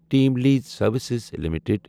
team lease services limited